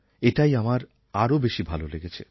এটাই আমার আরও বেশি ভালো লেগেছে